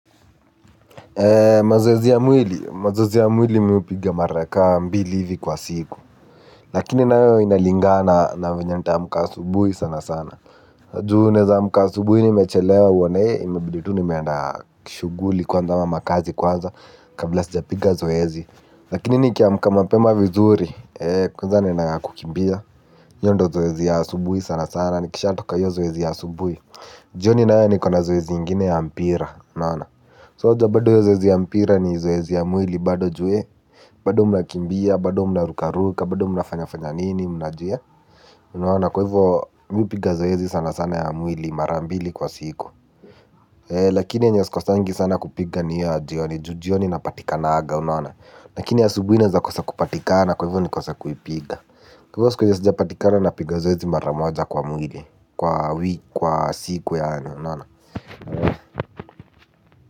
Mazoezi ya mwili. Mazoezi ya mwili mi hupiga mara ka mbili hivi kwa siku. Lakini nayo inalingana na venye nitaamka asubuhi sana sana juu naweza amka asubuhi nimechelewa uone imebidi tu nimeenda kishuguli kwanza ama makazi kwanza kabla sijapiga zoezi lakini nikiamka mapema vizuri, kwanza ninaendanga kukimbia hio ndio zoezi ya asubuhi sana sana. Nikishatoka hio zoezi ya asubuhi. Jioni nayo nikona zoezi ingine ya mpira So wajua bado hiyo zoezi ya mpira ni zoezi ya mwili bado juu bado mnakimbia, bado mnarukaruka, bado mnafanyafanyanini, mnajia unaona. Kwa hivyo, mimi hupiga zoezi sana sana ya mwili mara mbili kwa siku. Lakini yenye sikosangi sana kupiga ni hiyo ya jioni, juu jioni napatikananga. Lakini asubuhi naeza kosa kupatikana kwa hivyo nikose kuipiga. Kwa hivyo, siku yenye sijapatikana napiga zoezi mara moja kwa mwili. Kwa kwa siku yaani unaona.